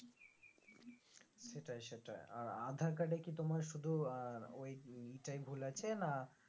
সেটাই সেটাই আর আধার কার্ডে কি তোমার শুধু আহ ওই ই টাই ভুল আছে না